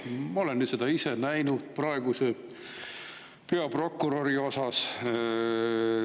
Ma olen seda ise näinud praeguse peaprokuröri osas.